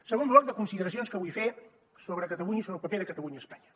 segon bloc de consideracions que vull fer sobre catalunya i sobre el paper de catalunya a espanya